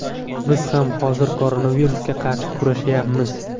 Biz ham hozir koronavirusga qarshi kurashayapmiz.